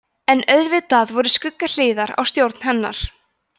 en auðvitað voru skuggahliðar á stjórn hennar